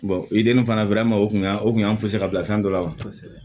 i dennin fana o tun y'a o kun y'an ka bila fɛn dɔ la wa kosɛbɛ